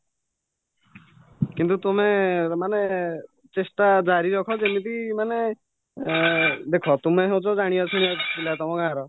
କିନ୍ତୁ ତୁମେ ମାନେ ଚେଷ୍ଟା ଜାରିରଖା ଯେମିତି ମାନେ ଏଁ ଦେଖ ତୁମେ ହଉଛ ଜାଣିବା ଶୁଣିବା ପିଲା ତମ ଗାଁର